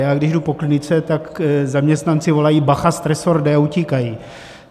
Já když jdu po klinice, tak zaměstnanci volají "bacha, stresor jde!" a utíkají.